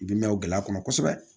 I bi mɛn o gɛlɛya kɔnɔ kosɛbɛ